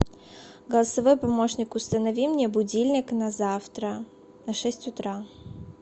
голосовой помощник установи мне будильник на завтра на шесть утра